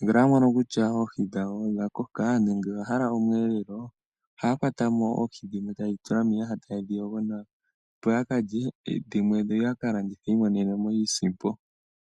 ngele yamono kutya oohi dhawo odhakoka nenge oyahala omweelelo, ohaya kwatamo oohi dhimwe taye dhitula miiyaha taye dhiyogo nawa opo yakalye oohi dhimwe yo yakalandithe yiimonene iisimpo.